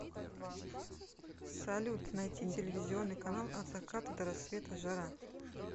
салют найти телевизионный канал от заката до рассвета жара